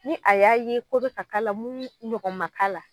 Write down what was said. Ni a y'a ye ko be ka k'ala mun ɲɔgɔn ma deli ka k'ala